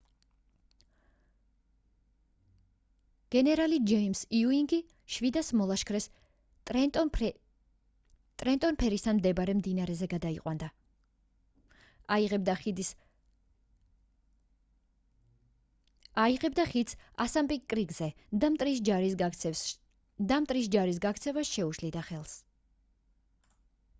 გენერალი ჯეიმს იუინგი 700 მოლაშქრეს ტრენტონ ფერისთან მდებარე მდინარეზე გადაიყვანდა აიღებდა ხიდს ასანპინკ კრიკზე და მტრის ჯარის გაქცევას შეუშლიდა ხელს